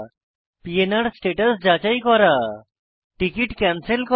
PNR status যাচাই করা ticket cancel করা